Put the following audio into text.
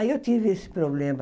Aí eu tive esse problema.